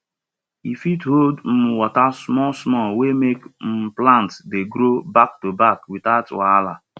e fit hold um water smallsmall wey make um plants dey grow backtoback without wahala